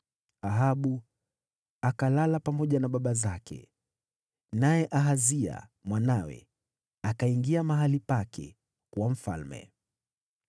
Ahabu akalala pamoja na baba zake. Naye Ahazia mwanawe akawa mfalme baada yake.